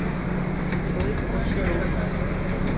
стройхозторг